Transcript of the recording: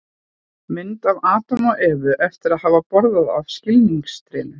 mynd af adam og evu eftir að hafa borðað af skilningstrénu